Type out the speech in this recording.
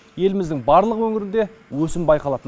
еліміздің барлық өңірінде өсім байқалады